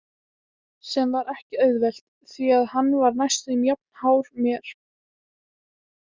Sem var ekki auðvelt því að hann var næstum jafn hár mér.